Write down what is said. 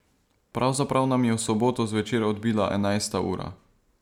Pravzaprav nam je v soboto zvečer odbila enajsta ura.